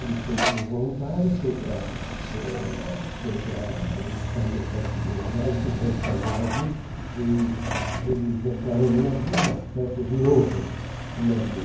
Ele foi como voluntário, foi para eh foi para onde saiu, parece que Buenos Aires, não sei de onde saiu o navio, eles eles entraram no navio, umas festas imensas no navio.